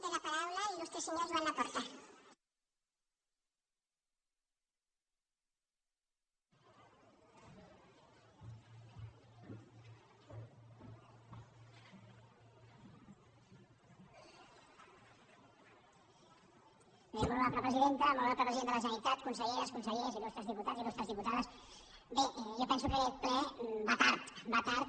bé molt honorable presidenta molt honorable president de la generalitat conselleres consellers il·lustres diputats il·lustres diputades bé jo penso que aquest ple va tard va tard